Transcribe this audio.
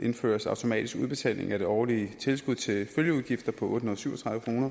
indføres automatisk udbetaling af det årlige tilskud til følgeudgifter på otte hundrede og syv og tredive kroner